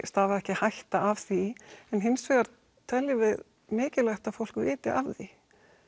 stafaði ekki hætta af því en hins vegar teljum við mikilvægt að fólk viti af því